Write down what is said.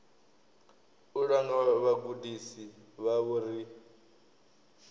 u langa vhagudisi vhavho ri